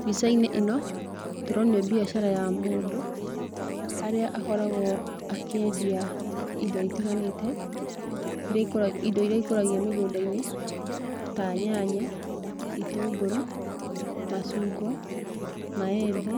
Mbica-inĩ ĩno tũronio mbiacara ya mũndũ, harĩa akoragwo akĩendia indo itiganĩte iria ikũra, indo iria ikũragio mĩgũnda-inĩ ta nyanya, itũngũrũ, macungwa, maembe,